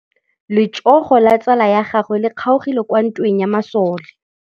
Letsôgô la tsala ya gagwe le kgaogile kwa ntweng ya masole.